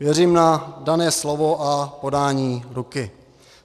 Věřím na dané slovo a podání ruky.